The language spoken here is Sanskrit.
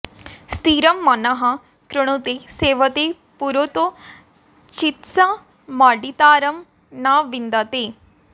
स्थिरं मनः कृणुते सेवते पुरोतो चित्स मर्डितारं न विन्दते